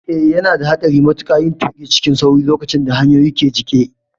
Eh, yana da haɗari matuƙa yin tuƙi cikin sauri lokacin da hanyoyin ke jike.